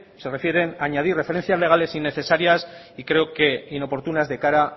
se refieren a añadir referencias legales innecesarias y creo que inoportunas de cara